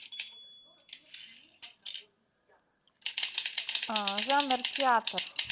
жанр театр